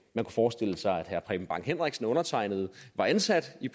forestille sig at herre preben bang henriksen og undertegnede var ansat i